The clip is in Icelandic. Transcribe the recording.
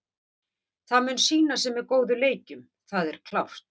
Það mun sýna sig með góðum leikjum, það er klárt.